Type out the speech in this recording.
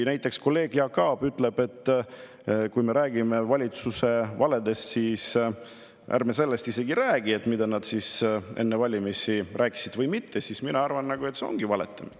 Näiteks kolleeg Jaak Aab ütleb, et kui me räägime valitsuse valedest, aga isegi ei räägi sellest, mida nad enne valimisi rääkisid või mitte, siis see ongi valetamine.